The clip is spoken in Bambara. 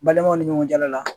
Balimaw ni ɲɔgɔncɛ la la